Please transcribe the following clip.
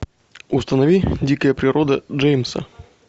установи дикая природа джеймса